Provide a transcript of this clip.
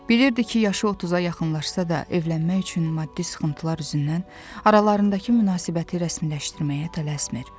Bilirdi ki, yaşı 30-a yaxınlaşsa da evlənmək üçün maddi sıxıntılar üzündən aralarındakı münasibəti rəsmiləşdirməyə tələsmir.